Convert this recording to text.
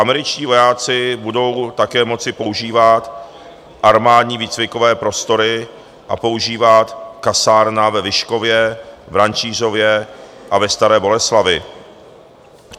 Američtí vojáci budou také moci používat armádní výcvikové prostory a používat kasárna ve Vyškově, v Rančířově a ve Staré Boleslavi.